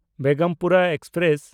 Begampura express